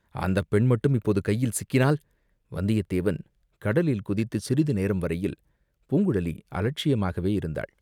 அந்தப் பெண் மட்டும் இப்போது கையில் சிக்கினால், வந்தியத்தேவன் கடலில் குதித்துச் சிறிது நேரம் வரையில் பூங்குழலி அலட்சியமாகவே இருந்தாள்.